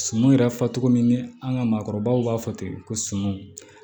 Suman yɛrɛ fɔ togo min ni an ka maakɔrɔbaw b'a fɔ ten ko sumun